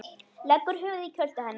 Leggur höfuðið í kjöltu hennar.